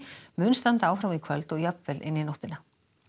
mun standa áfram í kvöld og jafnvel inn í nóttina